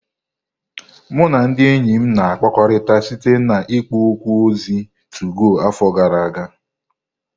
Mụ na ndị enyi m na-akpakọrịta site na ikpo okwu ozi 2go afọ gara aga.